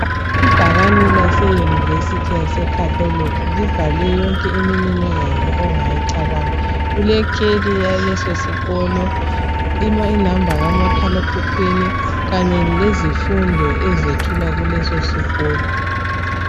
Ibhakane lase University yase Catholic libhalwe yonke imininingwana ongayicabanga. Kulekheli yalesosikolo, i number kamakhala ekhukhwini kanye lezifundo ezethulwa kuleso sikolo.